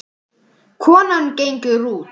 Konan gengur út.